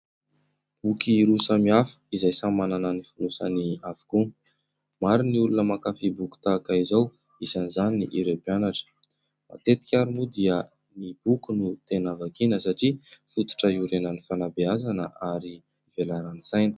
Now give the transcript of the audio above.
Boky roa samy hafa izay samy manana ny fonosany avokoa. Maro ny olona mankafy boky tahaka izao, isan'izany ireo mpianatra. Matetika ary moa dia ny boky no tena vakiana satria fototra hiorenan'ny fanabehazana ary hivelaran'ny saina.